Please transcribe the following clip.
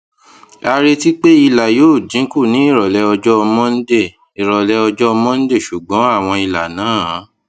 a retí pé àwọn ìlà yóò dín kù ní ìròlé ọjó monday ìròlé ọjó monday ṣùgbọn àwọn ìlà náà